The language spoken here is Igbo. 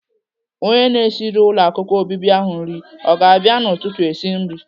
Onye na-esiri ụlọ akwụkwọ obibi ahụ nri ọ ga-abịa n'ụtụtụ esi nri?